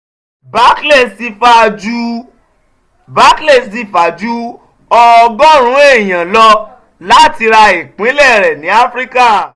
barclays ti fa ju ọgọ́rùn-ún èèyàn lọ láti ra ìpínlẹ̀ rẹ̀ ní áfíríkà